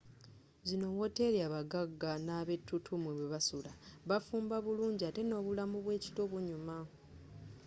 zino wooteri abaggagga n'abettutumu mwebasula bafumba bulungi atte n'obulamu bw'ekiro bunyuma